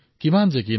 কি কি হয়